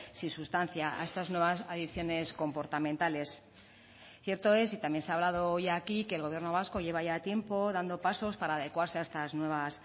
sin sustancia a estas nuevas adicciones comportamentales cierto es y también se ha hablado hoy aquí que el gobierno vasco lleva ya tiempo dando pasos para adecuarse a estas nuevas